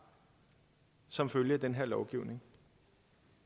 som følge af den her lovgivning